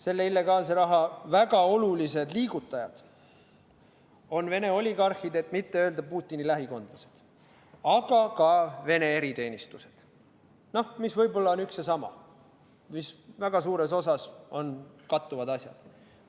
Selle illegaalse raha väga olulised liigutajad on Vene oligarhid, et mitte öelda Putini lähikondlased, aga ka Vene eriteenistused, mis võib-olla on üks ja sama, mis väga suures osas on kattuvad asjad.